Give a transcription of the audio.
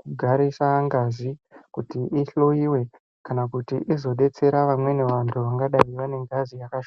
kugarisa ngazi kuti ihloyiwe kana kuti izodetsera vamweni vantu vangadai vane ngazi yakash...